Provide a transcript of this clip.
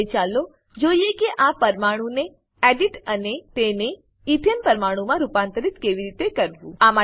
હવે ચાલો જોઈએ કે આ પરમાણુને એડિટ અને તેને એથને ઈથેન પરમાણુમાં રૂપાંતરિત કેવી રીતે કરવું છે